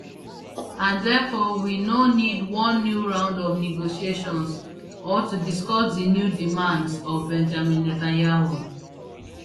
and therefore we no need one new round of negotiations or to discuss di new demands of benjamin netanyahu